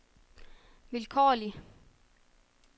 vilkårlig